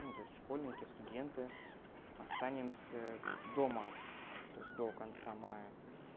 ну то есть школьники студенты останемся дома то есть до конца мая